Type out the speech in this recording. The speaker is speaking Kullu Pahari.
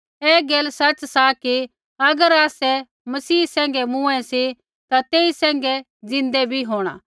ऐ गैल सच़ सा कि अगर आसै मसीह सैंघै मूँऐ सी ता तेई सैंघै ज़िन्दै बी होंणा